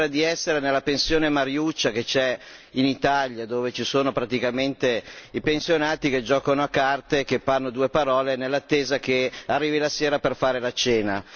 Mi sembra di essere nella pensione Mariuccia che c'è in Italia, dove ci sono praticamente i pensionati che giocano a carte e che fanno due parole nell'attesa che arrivi la sera per fare la cena.